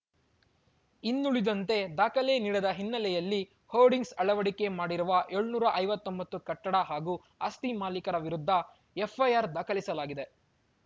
ಇನ್ನುಳಿದಂತೆ ದಾಖಲೆ ನೀಡದ ಹಿನ್ನೆಲೆಯಲ್ಲಿ ಹೋರ್ಡಿಂಗ್ಸ್‌ ಅಳವಡಿಕೆ ಮಾಡಿರುವ ಏಳುನೂರ ಐವತ್ತೊಂಬತ್ತು ಕಟ್ಟಡ ಹಾಗೂ ಆಸ್ತಿ ಮಾಲಿಕರ ವಿರುದ್ಧ ಎಫ್‌ಐಆರ್‌ ದಾಖಲಿಸಲಾಗಿದೆ